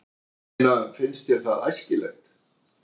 Ég meina, finnst þér það æskilegt?